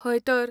हयतर.